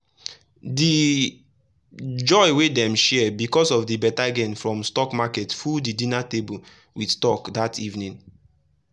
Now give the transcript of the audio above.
the joy wey dem share because of the better gain from stock market full the dinner table with talk that evening.